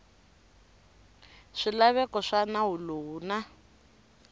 swilaveko swa nawu lowu na